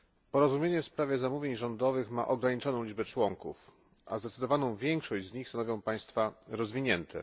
Porozumienie w sprawie zamówień rządowych ma ograniczoną liczbę członków, a zdecydowaną większość z nich stanowią państwa rozwinięte.